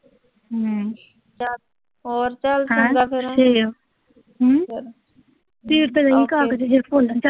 ਹੋਰ ਚਲ ਚੰਗਾ ਫਿਰ